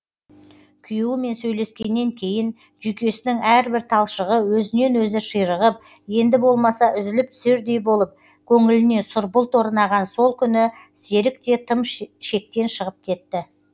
күйеуімен сөйлескеннен кейін жүйкесінің әрбір талшығы өзінен өзі ширығып енді болмаса үзіліп түсердей болып көңіліне сұр бұлт орнаған сол күні серік те тым шектен шығып кетті